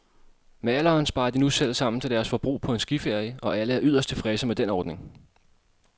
Med alderen sparer de nu selv sammen til deres forbrug på en skiferie, og alle er yderst tilfredse med den ordning.